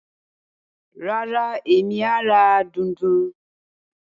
Rárá, Emi a ra dùndún.